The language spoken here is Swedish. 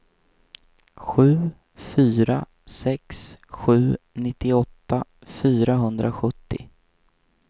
sju fyra sex sju nittioåtta fyrahundrasjuttio